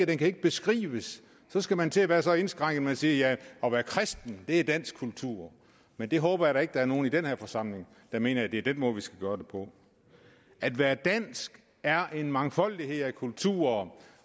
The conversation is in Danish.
den kan ikke beskrives så skal man til at være så indskrænket at man siger at det at være kristen er dansk kultur men jeg håber da ikke at der er nogen i den her forsamling der mener at det er den måde vi skal gøre det på at være dansk er en mangfoldighed af kulturer